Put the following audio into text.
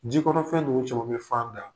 Ji kɔnɔfɛn nunun caman bi fan da